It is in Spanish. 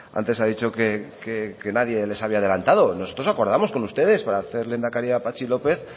antes ha dicho que nadie les había adelantado nosotros lo acordamos con ustedes para hacer lehendakari a patxi lópez